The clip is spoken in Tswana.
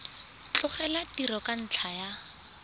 tlogela tiro ka ntlha ya